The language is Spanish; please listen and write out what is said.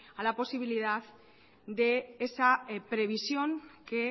a la posibilidad de esa previsión que